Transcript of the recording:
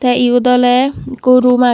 tee eyot ole ekku room agey.